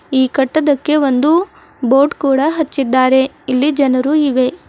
ಈ ಕಟ್ಟದಕ್ಕೆ ಒಂದು ಬೋರ್ಡ್ ಕೂಡಾ ಹಚ್ಚಿದ್ದಾರೆ ಇಲ್ಲಿ ಜನರು ಇವೆ.